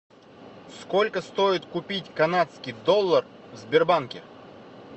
сколько стоит купить канадский доллар в сбербанке